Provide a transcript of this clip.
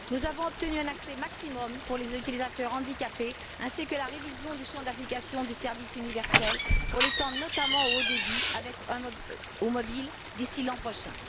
Nous avons obtenu un accès maximum pour les utilisateurs handicapés ainsi que la révision du champ d'application du service universel pour l'étendre notamment au mobile, d'ici l'an prochain.